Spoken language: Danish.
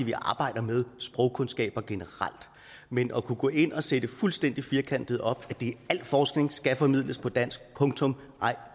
vi arbejder med sprogkundskaber generelt men at kunne gå ind og sætte fuldstændig firkantet op at al forskning skal formidles på dansk punktum nej